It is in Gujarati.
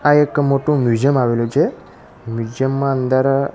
આ એક મોટું મ્યુઝિયમ આવેલું છે મ્યુઝિયમ માં અંદર--